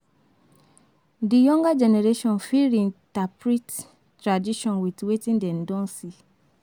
Di younger generation fit reinterprete tradition with wetin dem don see